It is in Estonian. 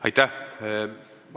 Aitäh!